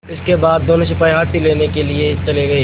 इसके बाद दोनों सिपाही हाथी लेने के लिए चले गए